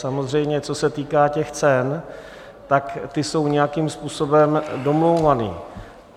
Samozřejmě, co se týká těch cen, tak ty jsou nějakým způsobem domlouvány.